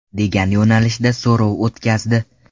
degan yo‘nalishda so‘rov o‘tkazdi .